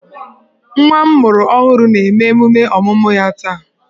Nwa m mụrụ ọhụrụ na-eme emume ọmụmụ ya taa